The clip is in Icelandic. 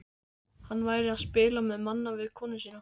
Hann væri að spila manna við konuna sína.